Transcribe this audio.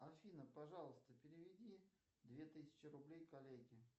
афина пожалуйста переведи две тысячи рублей коллеге